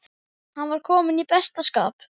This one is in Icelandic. Hann var kominn í besta skap.